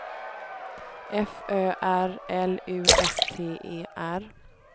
F Ö R L U S T E R